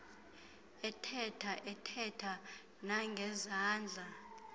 ethetha athethe nangezandla